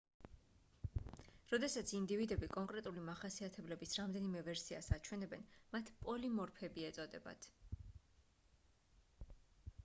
როდესაც ინდივიდები კონკრეტული მახასიათებლების რამდენიმე ვერსიას აჩვენებენ მათ პოლიმორფები ეწოდებათ